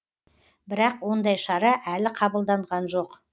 бірақ ондай шара әлі қабылданған жоқ